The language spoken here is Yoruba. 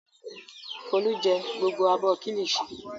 Folú jẹ gbogbo abọ́ kíllìṣi?